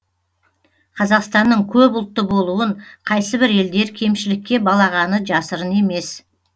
қазақстанның көпұлтты болуын қайсібір елдер кемшілікке балағаны жасырын емес